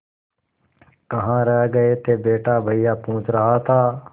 कहाँ रह गए थे बेटा भैया पूछ रहा था